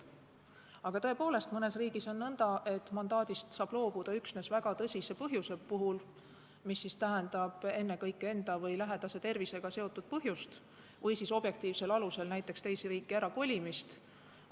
Aga tõepoolest, mõnes riigis on nõnda, et mandaadist saab loobuda üksnes väga tõsise põhjuse korral, mis tähendab ennekõike enda või lähedase tervisega seotud põhjust, või siis objektiivsel alusel, näiteks teise riiki kolimise korral.